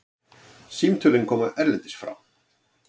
Símtölin koma erlendis frá.